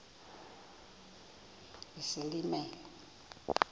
isilimela